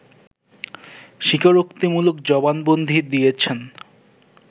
স্বীকারোক্তিমূলক জবানবন্দি দিয়েছেন